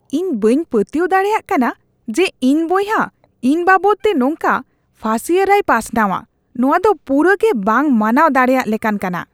ᱤᱧ ᱵᱟᱹᱧ ᱯᱟᱹᱛᱭᱟᱹᱣ ᱫᱟᱲᱮᱭᱟᱜ ᱠᱟᱱᱟ ᱡᱮ ᱤᱧ ᱵᱚᱭᱦᱟ ᱤᱧ ᱵᱟᱵᱚᱫᱛᱮ ᱱᱚᱝᱠᱟ ᱯᱷᱟᱹᱥᱤᱭᱟᱹᱨᱟᱭ ᱯᱟᱥᱱᱟᱣᱟ ᱾ ᱱᱚᱣᱟ ᱫᱚ ᱯᱩᱨᱟᱹ ᱜᱮ ᱵᱟᱝ ᱢᱟᱱᱟᱣ ᱫᱟᱲᱮᱭᱟᱜ ᱞᱮᱠᱟᱱ ᱠᱟᱱᱟ ᱾